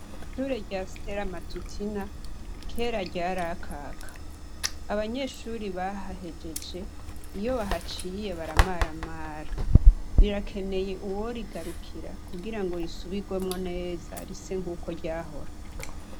Ishure rya Sitera matutina kera ryarakaka, abanyeshuri bahahejeje iyo bahaciye baramaramara, rirakeneye uworigarukira kugira ngo risubirwemwo neza rise nk'uko ryahora.